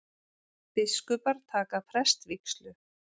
Biskupar taka prestsvígslu